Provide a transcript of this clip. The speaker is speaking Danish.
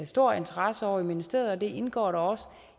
stor interesse ovre i ministeriet og det indgår da også